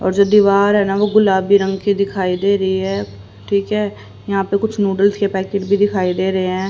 और जो दीवार है ना वो गुलाबी रंग कि दिखाई दे रही है ठीक है यहां पे कुछ नूडल्स के पैकेट भी दिखाई दे रहे हैं।